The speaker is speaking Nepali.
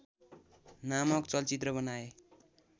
नामक चलचित्र बनाए।